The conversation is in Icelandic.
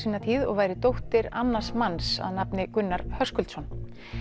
tíð og væri dóttir annars manns að nafni Gunnar Höskuldsson